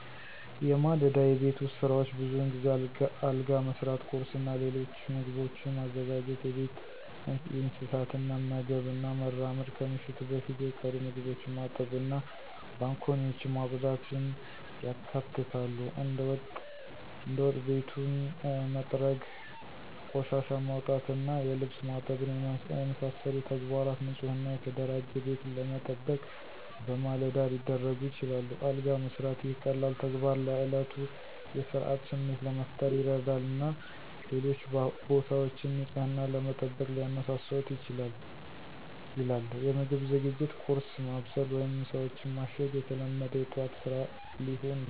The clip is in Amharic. የማለዳ የቤት ውስጥ ሥራዎች ብዙውን ጊዜ አልጋ መሥራት፣ ቁርስ እና ሌሎች ምግቦችን ማዘጋጀት፣ የቤት እንስሳትን መመገብ እና መራመድ፣ ከምሽቱ በፊት የቀሩ ምግቦችን ማጠብ እና ባንኮኒዎችን ማጽዳትን ያካትታሉ። እንደ ወጥ ቤቱን መጥረግ፣ ቆሻሻን ማውጣት እና የልብስ ማጠብን የመሳሰሉ ተግባራት ንፁህ እና የተደራጀ ቤትን ለመጠበቅ በማለዳ ሊደረጉ ይችላሉ። አልጋ መስራት - ይህ ቀላል ተግባር ለእለቱ የሥርዓት ስሜት ለመፍጠር ይረዳል እና ሌሎች ቦታዎችን ንፅህናን ለመጠበቅ ሊያነሳሳዎት ይችላል ይላል። የምግብ ዝግጅት - ቁርስ ማብሰል ወይም ምሳዎችን ማሸግ የተለመደ የጠዋት ስራ ሊሆን ይችላል።